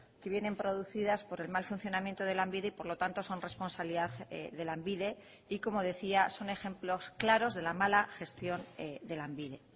que vienen producidas por el mal funcionamiento de lanbide y por lo tanto son responsabilidad de lanbide y como decía son ejemplos claros de la mala gestión de lanbide